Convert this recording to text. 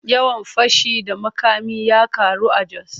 Yawan fashi da makami ya karu a Jos.